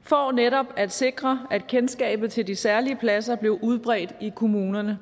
for netop at sikre at kendskabet til de særlige pladser blev udbredt i kommunerne